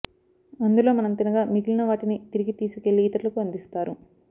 అందులో మనం తినగా మిగిలిన వాటిని తిరిగి తీసుకెళ్లి ఇతరులకు అందిస్తారు